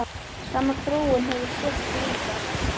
Sama þróun hefur sést víðar.